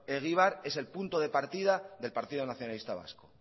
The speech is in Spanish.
egibar es el punto de partida del partido nacionalista vasco